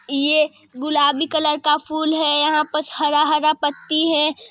ये गुलाबी कलर का फुल है यहाँ पर हरा हरा पत्ती हैं।